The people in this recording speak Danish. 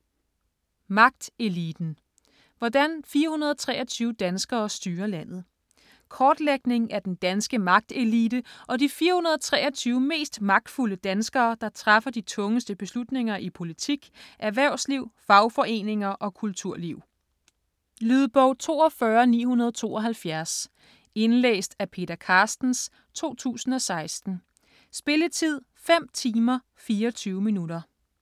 Magteliten: hvordan 423 danskere styrer landet Kortlægning af den danske magtelite og de 423 mest magtfulde danskere, der træffer de tungeste beslutninger i politik, erhvervsliv, fagforeninger og kulturliv. Lydbog 42972 Indlæst af Peter Carstens, 2016. Spilletid: 5 timer, 24 minutter.